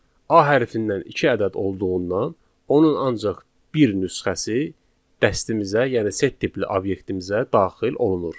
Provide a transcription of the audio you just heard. A hərfidən iki ədəd olduğundan onun ancaq bir nüsxəsi dəstimizə, yəni set tipli obyektimizə daxil olunur.